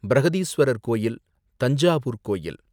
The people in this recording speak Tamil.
பிருஹதீஸ்வரர் கோயில் ,தஞ்சாவூர் கோயில்